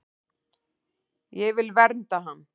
Ég vil vernda hann.